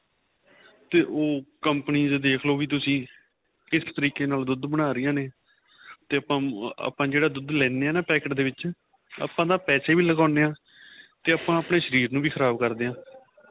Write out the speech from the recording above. ਤੇ ਉਹ ਕੰਪਨੀ ਦੇ ਦੇਖਲੋ ਵੀ ਤੁਸੀਂ ਕਿਸ ਤਰੀਕੇ ਨਾਲ ਦੁੱਧ ਬਣਾ ਰਹੀਆਂ ਨੇ ਤੇ ਆਪਾਂ ਜਿਹੜਾ ਦੁੱਧ ਲੈਦੇ ਹਾਂ packet ਦੇ ਵਿੱਚ ਆਪਾਂ ਤਾਂ ਪੈਸੇ ਵੀ ਲਗਾਉਦੇ ਆਂ ਤੇ ਆਪਾਂ ਆਪਣੇਂ ਸ਼ਰੀਰ ਨੂੰ ਵੀ ਖ਼ਰਾਬ ਕਰਦੇ ਆਂ